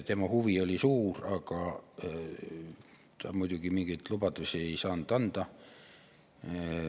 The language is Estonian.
Tema huvi oli suur, aga mingeid lubadusi ta muidugi ei saanud anda.